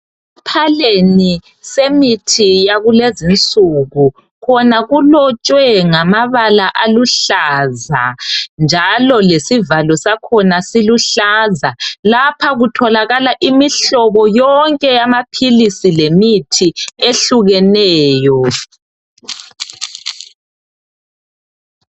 Esiphaleni semithi yakulezi insuku khona kulotshwe ngmabala aluhlaza njalo lesivalo sakhona siluhlaza. Lapha kutholakala imihlobo yonke yamaphilisi lemithi ehlukeneyo.